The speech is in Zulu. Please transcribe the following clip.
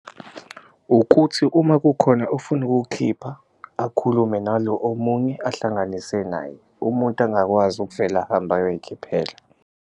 Ukuthi uma kukhona ofuna ukuwukhipha akhulume nalo omunye ahlanganise naye, umuntu angakwazi ukuvela ahambe ayoyikhiphela.